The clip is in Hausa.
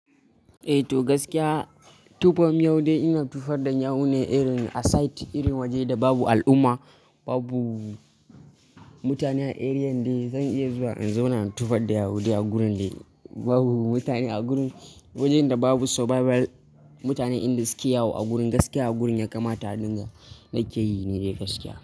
Eh to gaskiya tofar miyau dai ina tofar da yawune irin a site, irin waje da babu al'umma, babu mutane a area dai zan iya zuwa in zauna in tofar da yawu dai a gurin dai babu mutane, a gurin wajen da babu survival mutane inda suke yawo a gurin. Gaskiya a gurin ya kamata a dinga na ke yi ni dai gaskiya.